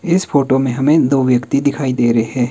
इस फोटो में हमें दो व्यक्ति दिखाई दे रहे।